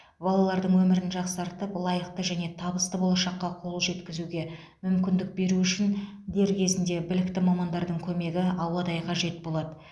балалардың өмірін жақсартып лайықты және табысты болашаққа қол жеткізуге мүмкіндік беру үшін дер кезінде білікті мамандардың көмегі ауадай қажет болады